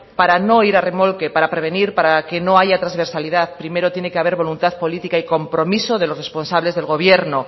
para no ir a remolque para prevenir para que no haya transversalidad primero tiene que haber voluntad política y compromiso de los responsables del gobierno